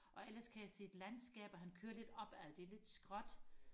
og ellers kan jeg se landskaber han kører lidt op ad det er lidt skråt